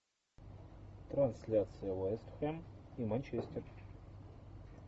трансляция вест хэм и манчестер